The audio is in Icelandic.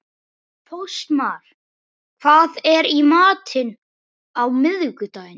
Fossmar, hvað er í matinn á miðvikudaginn?